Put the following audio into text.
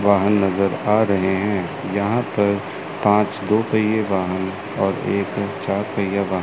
वाहन नज़र आ रहे हैं यहां पर पांच दो पहिए वाहन और एक चार पहिया वाहन--